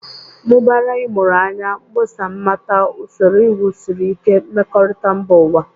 Mụbara ịmụrụ anya, mkpọsa mmata, usoro iwu siri ike, mmekorita mba ụwa.